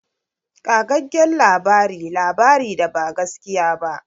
Ƙagaggen labari labari da ba gaskiya ba.